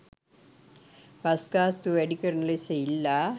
bus ගාස්තුව වැඩි කරන ලෙස ඉල්ලා